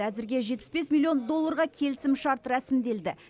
әзірге жетпіс бес миллион долларға келісімшарт рәсімделді